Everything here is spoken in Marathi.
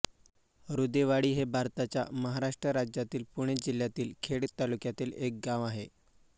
अरूदेवाडी हे भारताच्या महाराष्ट्र राज्यातील पुणे जिल्ह्यातील खेड तालुक्यातील एक गाव आहे